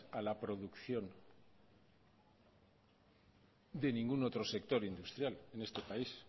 a la producción de ningún otro sector industrial en este país